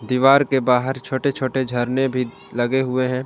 दीवार के बाहर छोटे छोटे झरने भी लगे हुए हैं।